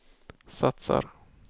satsar